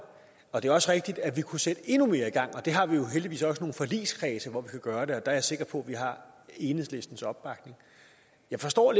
og det er også rigtigt at vi kunne sætte endnu mere i gang der har vi jo heldigvis også nogle forligskredse hvor vi kan gøre det og der er jeg sikker på at vi har enhedslistens opbakning jeg forstår